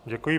Děkuji.